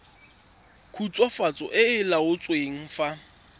khutswafatso e e laotsweng fa